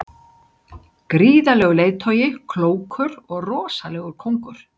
Gríðarlegur leiðtogi, klókur og rosalegur kóngur.